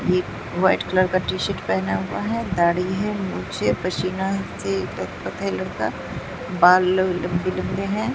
एक white colour का T-shirt पहना हुआ हैं दाढ़ी है मूंछ हैं पसीना से लतपत हैं लड़का बाल ल लंबे लंबे हैं।